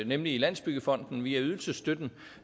nemlig i landsbyggefonden via ydelsesstøtten